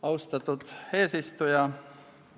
Austatud eesistuja!